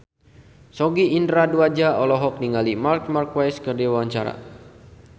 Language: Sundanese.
Sogi Indra Duaja olohok ningali Marc Marquez keur diwawancara